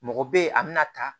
Mɔgɔ bɛ ye a bɛna ta